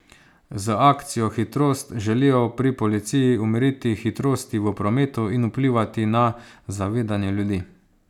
Z akcijo Hitrost želijo pri policiji umiriti hitrosti v prometu in vplivati na zavedanje ljudi.